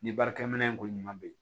Ni baarakɛminɛn ko ɲuman be yen